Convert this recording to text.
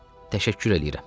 Təşəkkür eləyirəm.